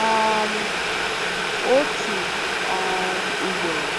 um Otu um ugboro, ọ um